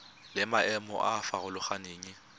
le maemo a a farologaneng